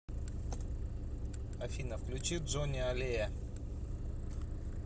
афина включи джони аллея